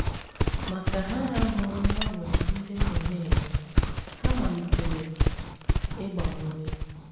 Ma ka ha hụrụ mgbanwe ndị m nọ na - eme, ha malitere ịgba m ume. ”